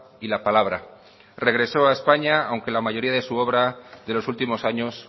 y la palabra regresó a españa aunque la mayoría de su obra de los últimos años